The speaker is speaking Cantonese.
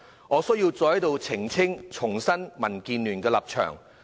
我需要再在此澄清及重申民建聯的立場。